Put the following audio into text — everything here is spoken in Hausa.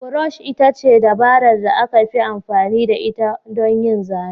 Brush ita ce dabarar da aka fi amfani da ita don yin zane.